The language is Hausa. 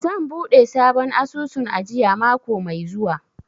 Zan buɗe sabon asusun ajiya mako mai zuwa.